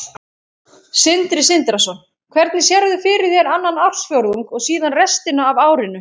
Sindri Sindrason: Hvernig sérðu fyrir þér annan ársfjórðung og síðan restina af árinu?